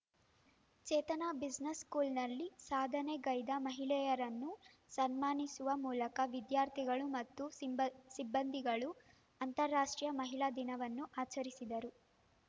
ಚೇತನ business ಸ್ಕೂಲ್‍ನಲ್ಲಿ ಸಾಧನೆಗೈದ ಮಹಿಳೆಯರನ್ನು ಸನ್ಮಾನಿಸುವ ಮೂಲಕ ವಿದ್ಯಾರ್ಥಿಗಳು ಮತ್ತು ಸಿಂಬ ಸಿಬ್ಬಂದಿಗಳು ಅಂತರಾಷ್ಟ್ರೀಯ ಮಹಿಳಾ ದಿನವನ್ನು ಆಚರಿಸಿದರು